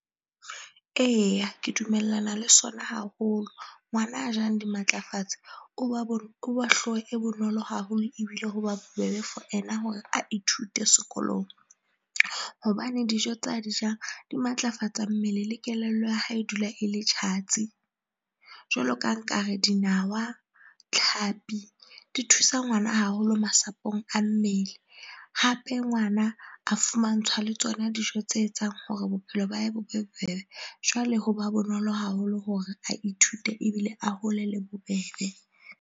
Eya, ke dumellana le sona haholo. Ngwana a jang dimatlafatse, o ba o ba hlooho e bonolo haholo ebile ho ba bobebe for ena hore a ithute sekolong. Hobane dijo tsa di jang di matlafatsa mmele le kelello ya hae e dula e le tjhatsi. Jwalo ka nkare dinawa, tlhapi di thusa ngwana haholo masapong a mmele. Hape ngwana a fumantshwa le tsona dijo tse etsang hore bophelo ba hae bo be bobebe. Jwale ho ba bonolo haholo hore a ithute ebile a hole le bobebe.